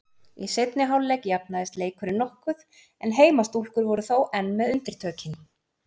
Í seinni hálfleik jafnaðist leikurinn nokkuð en heimastúlkur voru þó enn með undirtökin.